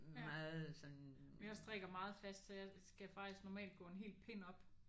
Ja men jeg strikker meget fast så jeg skal faktisk normalt gå en hel pind op